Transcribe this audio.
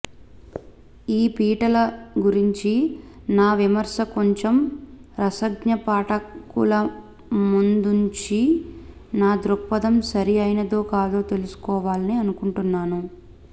ఈ పీటల గురించి నా విమర్శ కొంచెం రసజ్ఞ పాఠకులముందుంచి నా దృక్పధం సరి ఐనదో కాదో తెలుసుకోవాలని అనుకుంటున్నాను